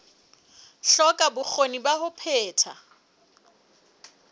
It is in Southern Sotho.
hloka bokgoni ba ho phetha